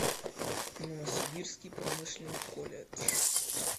новосибирский промышленный колледж